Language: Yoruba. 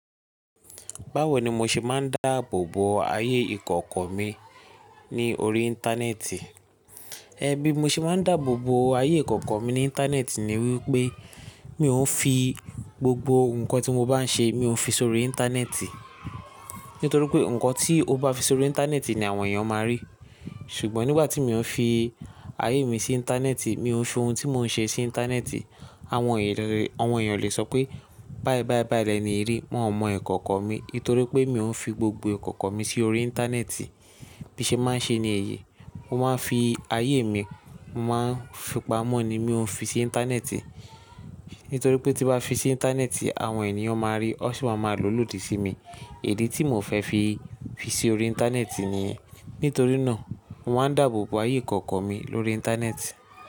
Báwo ni mo ṣe máa ń dáàbò bo ayé ìkọ̀kọ̀ mi ní orí Íńtánẹ́ẹ̀tì? Ẹ bí, mo ṣe máa ń dáàbò bo ayé ìkọ̀kọ̀ mi ní Íńtánẹ́ẹ̀tì ni wípé, mì o ń fi gbogbo nǹkan tí mo bá ń ṣe, mo ń fi sórí Íńtánẹ́ẹ̀tì. Nítorí pé, nǹkan tí o bá fi sórí Íńtánẹ́ẹ̀tì ni àwọn èèyàn máa rí. Ṣùgbọ́n nígbà tí mo ń fi ayé mi sí Íńtánẹ́ẹ̀tì, mi o ń fi ohun tí mo ń ṣe sí Íńtánẹ́ẹ̀tì, àwọn èyàn oo lè sọ pé báì báì báì lẹ́ni yi ri, wọ́n ò mọ ìkọ̀kọ̀ mi. Nítorí pé, mi ò ń fi gbogbo ìkọ̀kọ̀ mi sí orí Íńtánẹ́ẹ̀tì. Bí i ṣe máa ń ṣe ni èyí, mo máa ń fi ayé mi, mo máa ń fipamọ́ ni, mi ò ń fi sí Íńtánẹ́ẹ̀tì. Nítorí pé tí bá fi sí Íńtánẹ́ẹ̀tì, àwọn èèyàn máa rí, wọ́n sì máa ma lò lódì sí mi. Idi tí mo fẹ́ fi fi sí orí Íńtánẹ́ẹ̀tì ni. Nítorí náà, mo máa ń dáàbò bo ayé ìkọ̀kọ̀ mi lórí Íńtánẹ́ẹ̀tì.